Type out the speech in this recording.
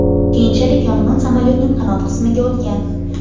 Keyinchalik yong‘in samolyotning qanot qismiga o‘tgan.